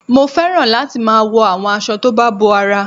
Mo fẹ́ràn láti máa wo àwọn aṣọ tó bá bo ara